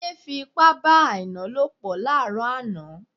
Táyé fi ipá bá Àìná lòpọ̀ láàrọ̀ àná